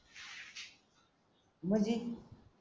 म्हणजे